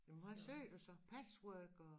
Jamen hvad syer du så patchwork og